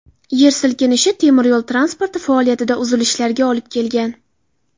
Yer silkinishi temiryo‘l transporti faoliyatida uzilishlarga olib kelgan.